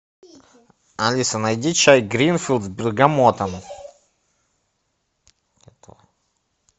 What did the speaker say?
алиса найди чай гринфилд с бергамотом